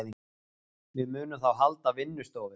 Við mundum þá halda vinnustofu